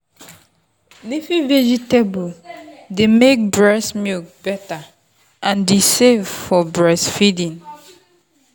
leafy veg dey make breast milk better and e safe for breastfeeding.